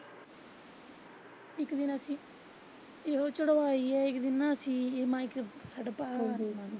ਇੱਕ ਦਿਨ ਅਸੀਂ ਸਗੋਂ ਚੜਵਾਈ ਆ ਇੱਕ .